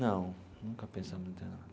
Não, nunca pensamos em interná-la.